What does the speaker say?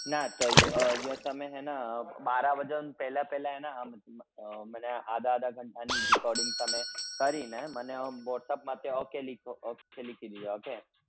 ના તો એ ઇયો તમે હે ને બારા બજન પેલા પેલા હેના મને આધા આધા ઘંટા ની recording તમે કરી ને મન અમ whatsapp માથે okay લિખો okay લિખી દેજો હો કે